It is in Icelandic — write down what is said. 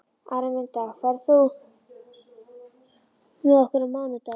Araminta, ferð þú með okkur á mánudaginn?